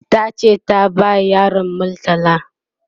tace ta ba yaran murtala